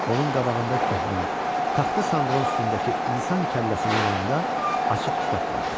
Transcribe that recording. Onun qabağında köhnə, taxta sandığın üstündəki insan kəlləsinin yanında açıq kitab vardı.